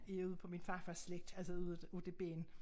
Er ude på min farfars slægt altså ude af ude af det ben